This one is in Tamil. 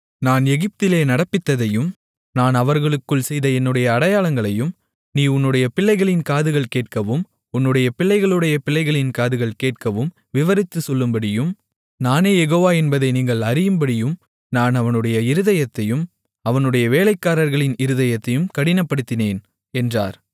நான் எகிப்திலே நடப்பித்ததையும் நான் அவர்களுக்குள் செய்த என்னுடைய அடையாளங்களையும் நீ உன்னுடைய பிள்ளைகளின் காதுகள் கேட்கவும் உன்னுடைய பிள்ளைகளுடைய பிள்ளைகளின் காதுகள் கேட்கவும் விவரித்துச் சொல்லும்படியும் நானே யெகோவா என்பதை நீங்கள் அறியும்படியும் நான் அவனுடைய இருதயத்தையும் அவனுடைய வேலைக்காரர்களின் இருதயத்தையும் கடினப்படுத்தினேன் என்றார்